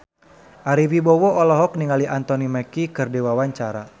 Ari Wibowo olohok ningali Anthony Mackie keur diwawancara